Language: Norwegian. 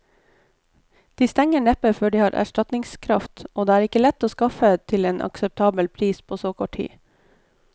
De stenger neppe før de har erstatningskraft, og det er ikke lett å skaffe til en akseptabel pris på så kort tid.